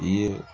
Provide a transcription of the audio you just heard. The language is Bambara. I ye